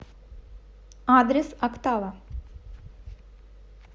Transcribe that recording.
адрес октава